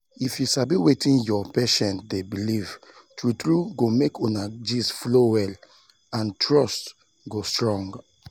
if you sabi wetin your patient dey believe true true go make una gist flow well and trust go strong.